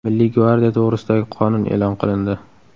Milliy gvardiya to‘g‘risidagi qonun e’lon qilindi.